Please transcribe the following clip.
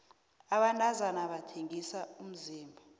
abantazana bathengisa umzimba